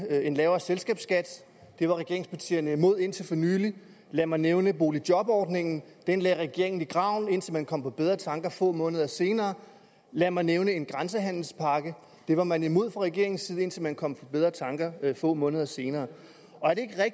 en lavere selskabsskat det var regeringspartierne imod indtil for nylig lad mig nævne boligjobordningen den lagde regeringen i graven indtil man kom på bedre tanker få måneder senere lad mig nævne en grænsehandelspakke den var man imod fra regeringens side indtil man kom på bedre tanker få måneder senere